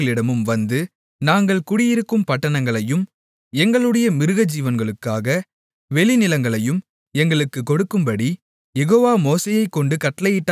நாங்கள் குடியிருக்கும் பட்டணங்களையும் எங்களுடைய மிருகஜீவனுக்காக வெளிநிலங்களையும் எங்களுக்குக் கொடுக்கும்படி யெகோவா மோசேயைக்கொண்டு கட்டளையிட்டாரே என்றார்கள்